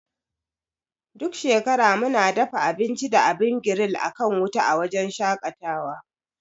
Duk shekara muna dafa abinci da abin giril akan wuta a wujen shaƙatawa.